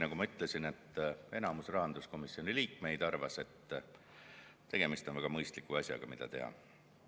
Nagu ma ütlesin, enamus rahanduskomisjoni liikmeid arvas, et tegemist on mõistliku asjaga, mida teha.